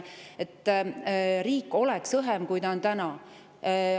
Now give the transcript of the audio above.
et riik oleks õhem, kui ta on täna.